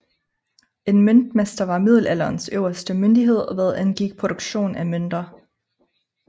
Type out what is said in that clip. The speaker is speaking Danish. En møntmester var middelalderens øverste myndighed hvad angik produktion af mønter